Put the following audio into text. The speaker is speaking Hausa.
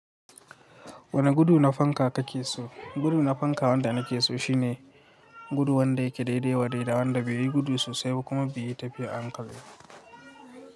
Wani gudu na fanka kakeso? Gudu na fanka wanda nakeso shine gudu wanda yake daidai wa daidai wanda bai yi gudu so sai ba kuma bai yi tafiya a hankali ba.